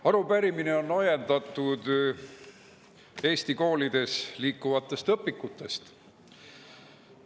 Arupärimine on ajendatud Eesti koolides õpikutest.